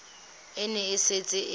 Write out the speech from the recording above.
e ne e setse e